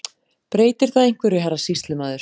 Breytir það einhverju, herra sýslumaður.